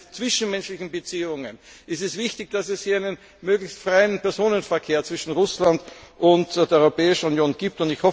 Gerade für die zwischenmenschlichen Beziehungen ist es wichtig, dass es hier einen möglichst freien Personenverkehr zwischen Russland und der Europäischen Union gibt.